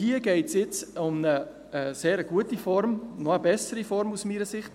Hier geht es nun um eine sehr gute Form, eine noch bessere aus meiner Sicht.